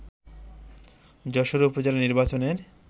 যশোরে উপজেলা নির্বাচনের